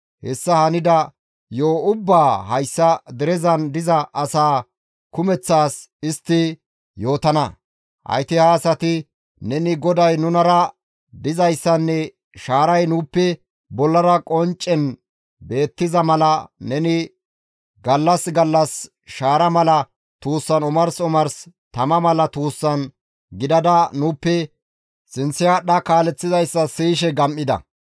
hessa hanida yo7o ubbaa hayssa derezan diza asaa kumeththas istti yootana; hayti ha asati neni GODAY nunara dizayssanne shaaray nuuppe bollara qonccen beettiza mala neni gallas gallas shaara mala tuussan omars omars tama mala tuussan gidada nuuppe sinththe aadhdha kaaleththizayssa siyishe gam7ida.